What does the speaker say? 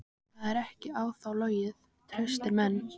Það er ekki á þá logið: traustir menn.